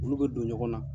Olu bɛ don ɲɔgɔn na